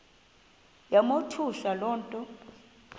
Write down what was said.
yamothusa le nto